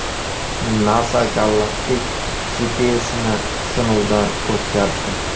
NASA galaktik GPS’ni sinovdan o‘tkazdi.